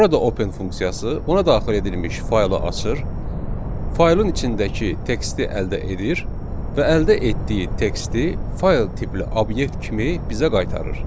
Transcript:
Burada open funksiyası ona daxil edilmiş faylı açır, faylın içindəki teksti əldə edir və əldə etdiyi teksti fayl tipli obyekt kimi bizə qaytarır.